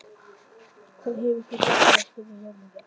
Hvað hefur þú gert af þér? spurði rumurinn ógnandi.